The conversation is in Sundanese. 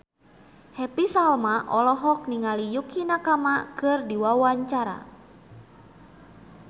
Happy Salma olohok ningali Yukie Nakama keur diwawancara